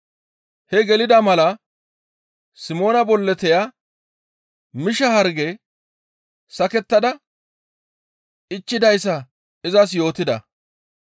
Hee gelida mala Simoona bolloteya misha harge sakettada ichchidayssa izas yootida.